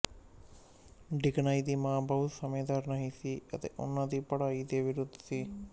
Dickens ਦੀ ਮਾਂ ਬਹੁਤ ਸਮਝਦਾਰ ਨਹੀਂ ਸੀ ਅਤੇ ਉਹਨਾਂ ਦੀ ਪੜ੍ਹਾਈ ਦੇ ਵਿਰੁੱਧ ਸੀ